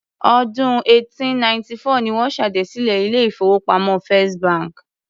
Ọdún 1894 ni wọ́n ṣèdásílẹl ilé-ìfowópamọ́ First bank.